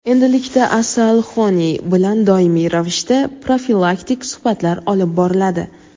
endilikda "Asalhoney" bilan doimiy ravishda profilaktik suhbatlar olib boriladi.